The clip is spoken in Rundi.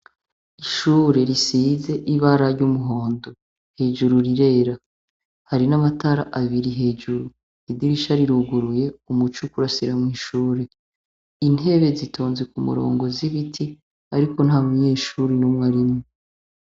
Ishure risize ibara ry'umuhondo hejuru rirera hari n'amatara abiri hejuru idirisha riruguruye umuco ukurasira mw'ishure intebe zitonze ku murongo z'ibiti, ariko nta munyeshuri n'umwe arimwo.